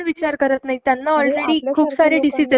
काय होत असेल ? किती त्रास होत असेल त्यांना